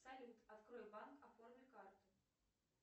салют открой банк оформи карту